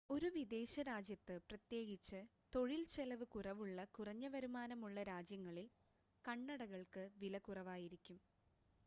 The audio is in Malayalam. ഒരു വിദേശ രാജ്യത്ത് പ്രത്യേകിച്ച് തൊഴിൽ ചെലവ് കുറവുള്ള കുറഞ്ഞ വരുമാനമുള്ള രാജ്യങ്ങളിൽ കണ്ണടകൾക്ക് വില കുറവായിരിക്കും